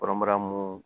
Kɔrɔbara mun